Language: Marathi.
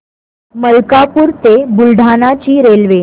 मलकापूर ते बुलढाणा ची रेल्वे